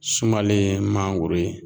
Sumalen ye mangoro ye